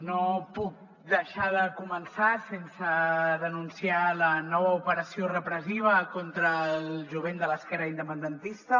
no puc deixar de començar sense denunciar la nova operació repressiva contra el jovent de l’esquerra independentista